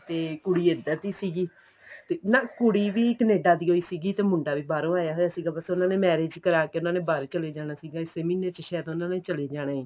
ਤੇ ਕੁੜੀ ਇੱਧਰ ਦੀ ਸੀਗੀ ਨਾ ਕੁੜੀ ਵੀ Canada ਦੀ ਓ ਸੀਗੀ ਤੇ ਮੁੰਡਾ ਵੀ ਬਹਾਰੋ ਆਇਆ ਹੋਇਆ ਸੀਗਾ ਬੱਸ ਉਹਨਾ ਨੇ marriage ਕਰਾਕੇ ਉਹਨਾ ਨੇ ਬਾਹਰ ਹੀ ਚਲੇ ਜਾਣਾ ਸੀਗਾ ਇਸੀ ਮਹੀਨੇ ਚ ਸਾਇਦ ਉਹਨਾ ਨੇ ਚਲੇ ਜਾਣਾ ਏ